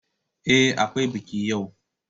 Ehh, Akwai biki yau.